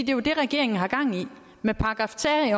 jo det regeringen har gang i med § tre